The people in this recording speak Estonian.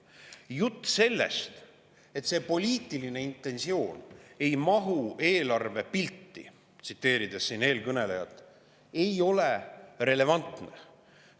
Jutt sellest, et see poliitiline intentsioon ei mahu eelarvepilti – tsiteerin siin eelkõnelejat –, ei ole relevantne.